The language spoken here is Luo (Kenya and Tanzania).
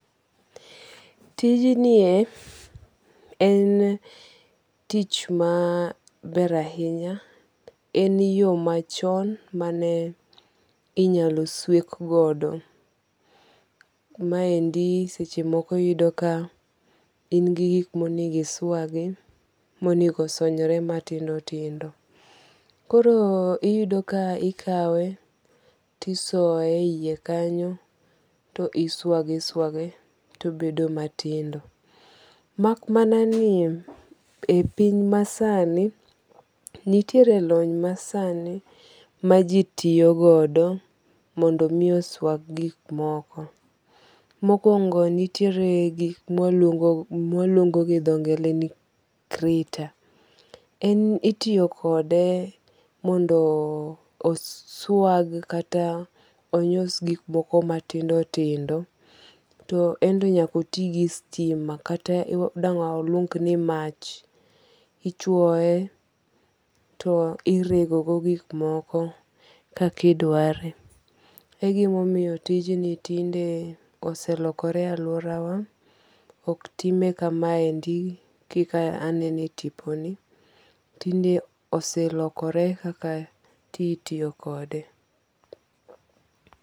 Tij nie en tich ma ber ahinya. En yo machon mane inyalo swek godo. Ma endi seche moko iyudo ka in gi gik monengo iswagi monego osonyre matindo tindo. Korom iyudo ka ikawe tisoye yie kanyo to iswage iswage tobedo matindo. Mak mana ni epiny masani, nitiere lony masani maji tiyogodo mondo mi oswag gik moko. Mokwongo nitiere gik ma waluongo gi dho ngere ni grater. En itiyo kode mondo oswag kata onywas gik moko matindo tindo. To ento nyaka oti gi sitima kata dang' waluong ni mach. Ichuoe to irego go gik moko kaka idware. Egimomiyo tijni tinde oselokore e aluora wa. Ok time kama endi kaka anene e tipo ni. Tinde oselokore kaka ti itiyo kode.